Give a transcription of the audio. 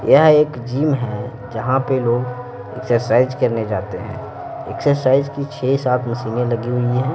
यह एक जिम है जहां पे लोग एक्सरसाइज करने जाते हैं एक्सरसाइज की छह सात मशीनें लगी हुई है।